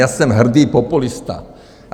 Já jsem hrdý populista.